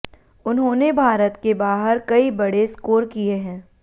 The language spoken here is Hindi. उन्होंने भारत के बाहर कई बड़े स्कोर किए हैं